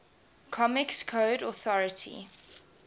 comics code authority